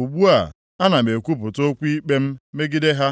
Ugbu a, ana m ekwupụta okwu ikpe m megide ha.”